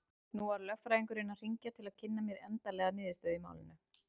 Nú var lögfræðingurinn að hringja til að kynna mér endanlega niðurstöðu í málinu.